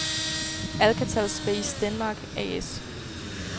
Alcatel Space Denmark A/S